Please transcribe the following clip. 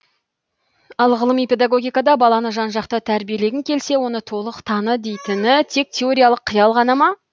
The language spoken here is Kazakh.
ал ғылыми педагогикада баланы жан жақты тәрбиелегің келсе оны толық таны дейтіні тек теориялық қиял ғана ма